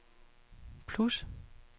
plus